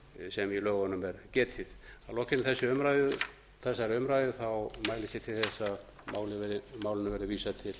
sem í lögunum er getið að lokinni þessari umræðu mælist ég til að málinu verði vísað til